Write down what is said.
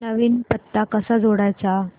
नवीन पत्ता कसा जोडायचा